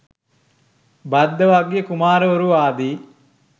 භද්දවග්ගිය කුමාරවරු ආදි